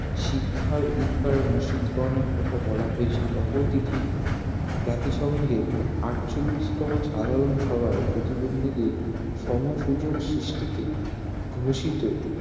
শিক্ষার অধিকার নিশ্চিত করার কথা বলা হয়েছে অপরদিকে জাতিসংঘের আটচল্লিশ তম সাধারন সভায় প্রতিবন্ধীদের সম-সুযোগ সৃষ্টিকে ঘোষিত